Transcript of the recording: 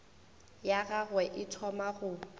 ya gagwe e thoma go